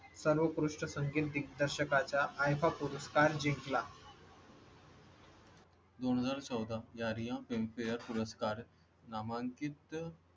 सर्वकृष्ट संगीत दिग्दर्शका च्या iifa पुरस्कार जिंकला दोन हजार चौदा या रिअ पिंपळनेर पुरस्कार नामांकित.